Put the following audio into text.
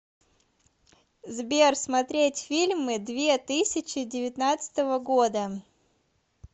сбер смотреть фильмы две тысяча девятнадцатого года